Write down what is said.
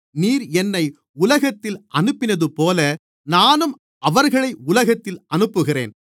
நீர் என்னை உலகத்தில் அனுப்பினதுபோல நானும் அவர்களை உலகத்தில் அனுப்புகிறேன்